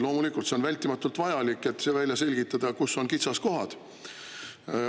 Loomulikult on vältimatult vajalik välja selgitada, kus on kitsaskohad.